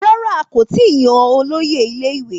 Rárá, a kò tí ì yan olóyè ilé-ìwé